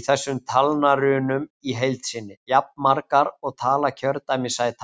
í þessum talnarunum í heild sinni, jafnmargar og tala kjördæmissætanna.